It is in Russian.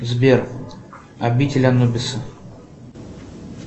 сбер обитель анубиса